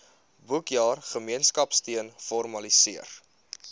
boekjaar gemeenskapsteun formaliseer